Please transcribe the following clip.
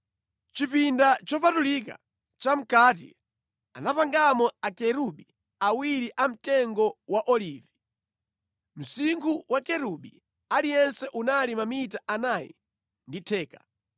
Mʼchipinda chopatulika cha mʼkati anapangamo akerubi awiri a mtengo wa olivi. Msinkhu wa kerubi aliyense unali mamita anayi ndi theka.